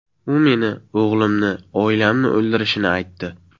U meni, o‘g‘limni, oilamni o‘ldirishini aytdi.